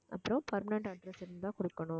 அப்புறம் permanent address இருந்தா கொடுக்கணும்